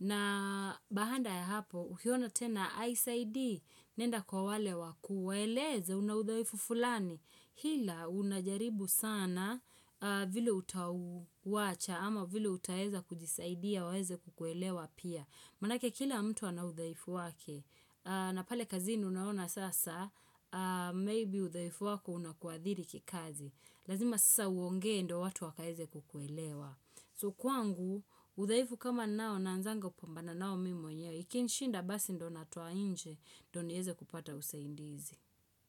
Na baada ya hapo, ukiona tena haisaidi, nenda kwa wale wakuu waeleze unaudhaifu fulani. Hila unajaribu sana vile utauwacha ama vile utaweza kujisaidia waweze kukuelewa pia. Manake kila mtu anaudhaifu wake, na pale kazini unaona sasa, maybe udhaifu wako unakuadhiri kikazi. Lazima sasa uongee ndo watu wakaeze kukuelewa. So kwangu, udhaifu kama nao na anzanga upombana nao mimi mwenyewe, ikinishinda basi ndo natoanje, don niweze kupata usaindizi.